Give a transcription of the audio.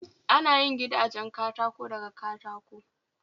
Ana yin gidanjen katako daga katako